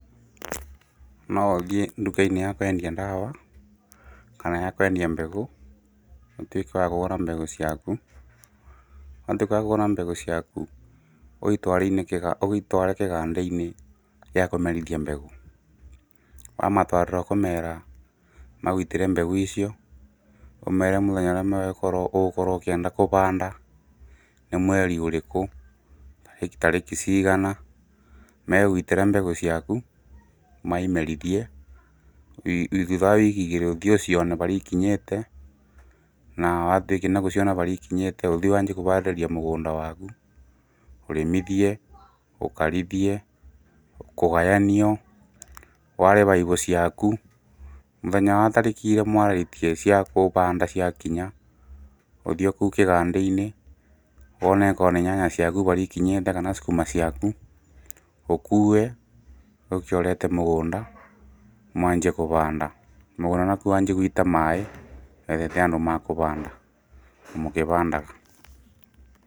No ũthiĩ nduka-inĩ ya kwendia ndawa kana ya kwendia mbegũ, ũtuĩke wa kũgũra mbegũ ciaku, watuka wakũgũra mbegu ciaku, ũitware kĩganda-inĩ gĩa kũmerithia mbegũ, wamatwarĩra ũkũmera, magũitĩre mbegũ icio, ũmere mũthenya ũrĩa ũgũkorwo ũkĩenda kũbanda, nĩ mweri ũrĩkũ, tarĩki cigana, megũitĩra mbegũ ciaku, maimerithie thutha wa wiki igĩrĩ ũthiĩ ũcione barĩa ikinyĩte na watuĩka gũciona barĩa ikinyĩte ũthiĩ wanjie kũbarĩrĩria mũgũnda waku, ũrĩmithie, ũkarĩthie, kũgayanio, ware baibo ciaku, mũthenya wa tarĩki irĩa mwarĩtie cia kũbanda cia kinya ũthiĩ o kũu kĩganda-inĩ wone akorwo nĩ nyanya ciaku barĩa ikinyĩte kana cukuma ciaku, ũkue ũke ũrete mũgũnda, mwanjie kũbanda, mũgũnda nakuo wanjie gwita maĩ, na wĩte andũ ma kũbanda, mũkĩbandaga.